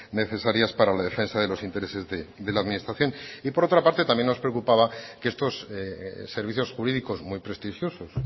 necesarias para la defensa de los intereses de la administración y por otra parte también nos preocupaba que estos servicios jurídicos muy prestigiosos